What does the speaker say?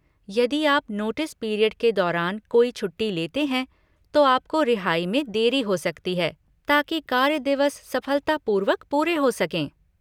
यदि आप notice period के दौरान कोई छुट्टी लेते हैं, तो आपको रिहाई में देरी हो सकती है, ताकि कार्य दिवस सफलतापूर्वक पूरे हो सकें।